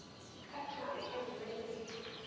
ka thoko e nngwe le